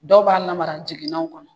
Dɔw b'a lamara jiginɛw kɔnɔ